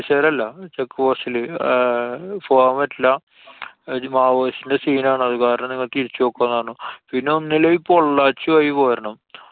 പൊലീസുകാരല്ല. check post ല് ആഹ് പോവാന്‍ പറ്റില്ല. ഇജ് maoist ന്‍റെ scene ആണ്. അതു കാരണം നിങ്ങള് തിരിച്ചു പോക്കോന്നു പറഞ്ഞു. പിന്നെ ഒന്നില്ലെങ്കില്‍ പൊള്ളാച്ചി വഴി പോരണം.